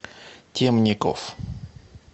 темников